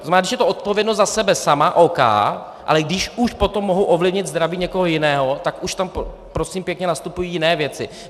To znamená, když je to odpovědnost za sebe sama, OK, ale když už potom mohu ovlivnit zdraví někoho jiného, tak už tam prosím pěkně nastupují jiné věci.